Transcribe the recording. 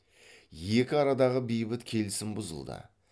екі арадағы бейбіт келісім бұзылды